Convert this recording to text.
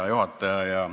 Hea juhataja!